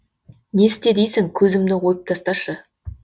не істе дейсің көзімді ойып тасташы